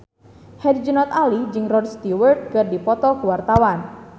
Herjunot Ali jeung Rod Stewart keur dipoto ku wartawan